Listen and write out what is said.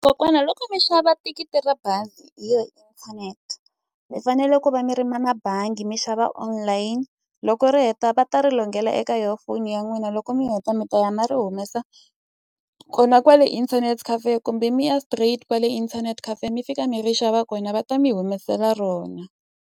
Kokwana loko mi xava thikithi ra bazi hi yona inthanete, mi fanele ku va mi ri na na bangi mi xava online. Loko ri heta va ta ri eka yona foni ya n'wina loko mi heta mi ta ya na ri humesa kona kwale internet cafe kumbe mi ya straight kwale internet cafe mi fika mi ri xava kona, va ta mi humesela rona.